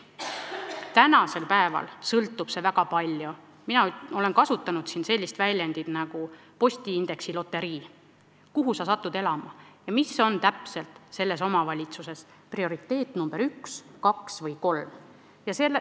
Tänasel päeval sõltub see väga palju sellest – mina olen kasutanud sellist väljendit nagu "postiindeksi loterii" –, kuhu sa oled elama sattunud ja mis on selles omavalitsuses prioriteet nr 1, 2 või 3.